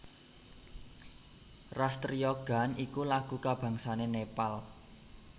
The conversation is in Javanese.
Ras Triya Gaan iku lagu kabangsané Nepal